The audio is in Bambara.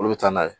Olu bɛ taa n'a ye